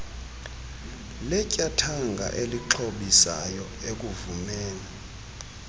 letyathanga elixhobisayo ukuvumela